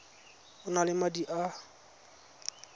o na le madi a